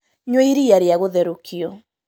Nyua iria rĩa gũtherũkio